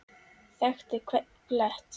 Þekkti hvern blett.